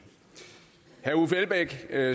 er